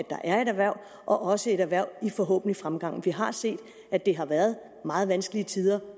der er et erhverv og også et erhverv i forhåbentlig fremgang vi har set at det har været meget vanskelige tider